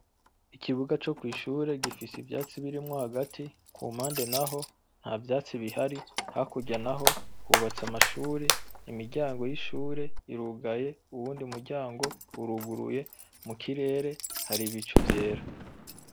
Ikibuga co kw’ishure gifise ivyatsi birimwo hagati ku mpande naho nta vyatsi bihari , hakurya naho hubatse amashure, imiryango y'ishure irugaye uwundi muryango uruguruye, mu kirere hari ibicu vyera.